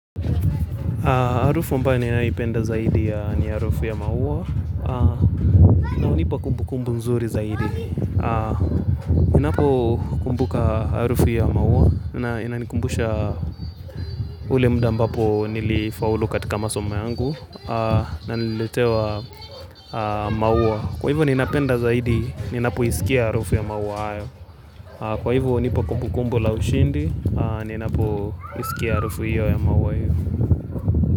Harufu ambayo ninaipenda zaidi ni harufu ya maua na hunipa kumbu kumbu nzuri zaidi. Ninapo kumbuka harufu ya maua na inanikumbusha ule muda ambapo nilifaulu katika masoma yangu na nililetewa maua. Kwa hivyo ninapenda zaidi ninapo isikia harufu ya maua hayo. Kwa hivyo hunipa kumbu kumbu la ushindi ninapo isikia harufu ya maua hayo.